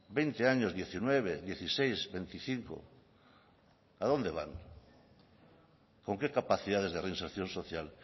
veinte años diecinueve dieciséis veinticinco a dónde van con qué capacidades de reinserción social